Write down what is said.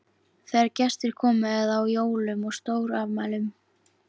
Þegar gestir komu eða á jólum og stórafmælum.